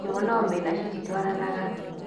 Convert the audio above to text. Njũgũ na omena cititwaranaga